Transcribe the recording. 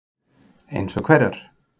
Fréttamaður: Eins og hverjar?